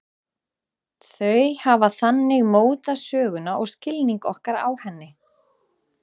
Þau hafa þannig mótað söguna og skilning okkar á henni.